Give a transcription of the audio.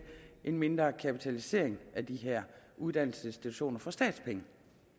en mindre kapitalisering af de her uddannelsesinstitutioner for statspenge